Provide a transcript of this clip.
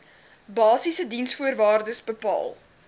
basiese diensvoorwaardes bepaal